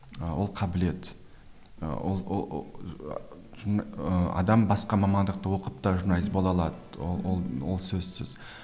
ы ол қабілет адам басқа мамандықты оқып та журналист бола алады ол ол ол сөзсіз